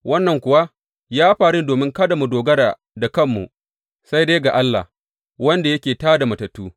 Wannan kuwa ya faru ne domin kada mu dogara da kanmu, sai dai ga Allah, wanda yake tā da matattu.